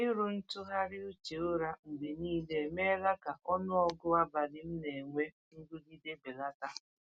Ịrụ ntụgharị uche ụra mgbe niile emeela ka ọnụọgụ abalị m na-enwe nrụgide belata.